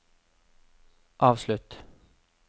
avslutt